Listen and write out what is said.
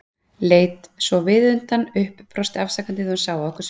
Leit svo viðutan upp, brosti afsakandi þegar hún sá á okkur svipinn.